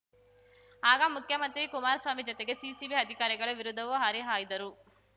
ಆಗ ಮುಖ್ಯಮಂತ್ರಿ ಕುಮಾರಸ್ವಾಮಿ ಜೊತೆಗೆ ಸಿಸಿಬಿ ಅಧಿಕಾರಿಗಳ ವಿರುದ್ಧವೂ ಹರಿಹಾಯ್ದರು